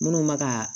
Minnu bɛ ka